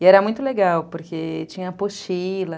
E era muito legal porque tinha apostila...